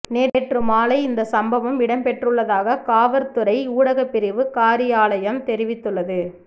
நேற்று மாலை இந்த சம்பவம் இடம்பெற்றுள்ளதாக காவற்துறை ஊடகப் பிரிவு காரியாலயம் தெரிவித்துள்ளது